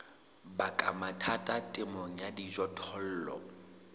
baka mathata temong ya dijothollo